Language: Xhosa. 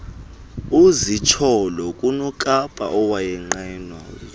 kuzitsholololo kunokapa owayenqenwa